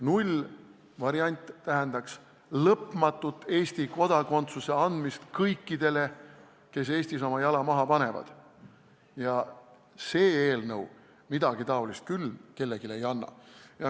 Nullvariant tähendaks lõpmatut Eesti kodakondsuse andmist kõikidele, kes Eestis oma jala maha panevad, ja see eelnõu midagi taolist küll kellelegi ei võimalda.